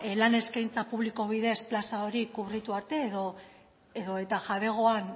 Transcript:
lan eskaintza publiko bidez plaza hori kubritu arte edota jabean